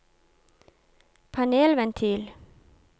panelventil